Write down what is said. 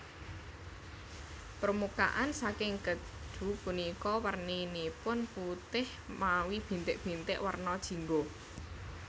Permukaan saking kèju punika werninipun putih mawi bintik bintik werna jingga